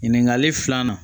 Ɲininkali filanan